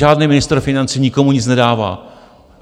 Žádný ministr financí nikomu nic nedává.